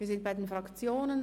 Wir sind bei den Fraktionen.